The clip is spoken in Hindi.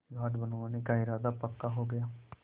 घाट बनवाने का इरादा पक्का हो गया